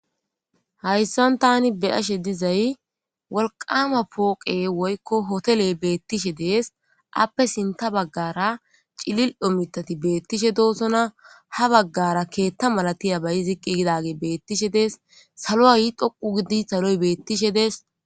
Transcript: Hayssan tani be ashe dizay wolqama pooqe woykko hotele beettishe dees appe sinta baggara cilil omitati beettishe doosona ha baggara keetta malatiya bayi ziqqi gidage beettishe dees salo ay dhoqu gidi saloy beettishe dees.